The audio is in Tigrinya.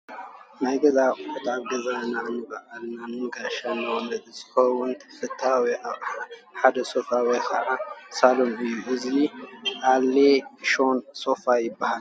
ናይ ገዛ ኣቑሑት፡- ኣብ ገዛና ንባዕልናን ንጋሻ መቐበልን ዝኸውን ተፈታዊ ኣቕሓ ሓደ ሶፋ ወይ ከዓ ሳሎን እዩ፡፡ እዚ ኤል ሼኝ ሶፋ ይባሃል፡፡